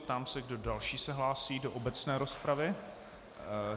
Ptám se, kdo další se hlásí do obecné rozpravy.